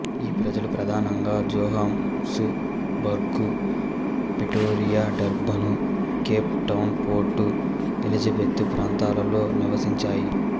ఈ ప్రజలు ప్రధానంగా Johannesburg Pretoria Durban Cape Town Port Elizabeth ప్రాంతాలలో నివసించాయి